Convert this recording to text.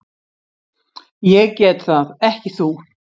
Ég get það, ekki þú.